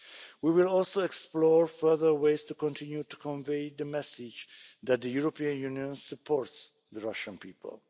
We will explore further ways to continue to convey the message that the European Union supports the Russian people.